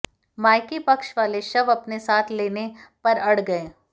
मायके पक्ष वाले शव अपने साथ लेने पर अड़ गए